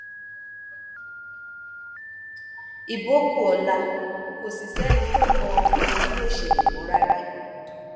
ibo kù ọla kò sì sẹni tó mọ ohun tí yóò ṣẹlẹ mọ rárá